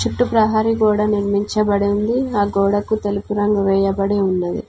చుట్టూ ప్రహరీ గోడ నిర్మించబడి ఉంది ఆ గోడకు తెలుపు రంగు వేయబడి ఉన్నది.